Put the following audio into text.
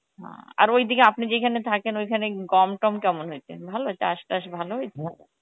আর ওই দিকে আপনি যেইখানে থাকেন ঐখানে গম তম কেমন হয়েছে ভালো, চাস টাস ভালো হয়েছে?